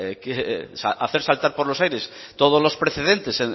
hacer saltar por los aires todos los precedentes